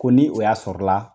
Ko ni o y'a sɔrɔla la